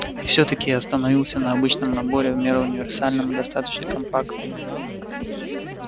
и всё-таки я остановился на обычном наборе в меру универсальном и достаточно компактном